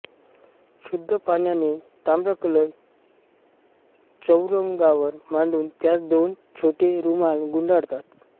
शुद्ध पाण्याने ताम्रकलश चौरंगावर मांडून त्यास दोन छोटे रूमाल गुंडाळतात